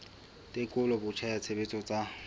tekolo botjha ya tshebetso tsa